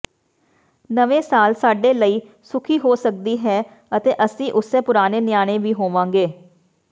ਨਵੇਂ ਸਾਲ ਸਾਡੇ ਲਈ ਸੁਖੀ ਹੋ ਸਕਦੀ ਹੈ ਅਤੇ ਅਸੀਂ ਉਸੇ ਪੁਰਾਣੇ ਨਿਆਣੇ ਵੀ ਹੋਵਾਂਗੇ